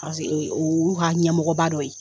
Paseke u y'u ka ɲɛmɔgɔba dɔ ye.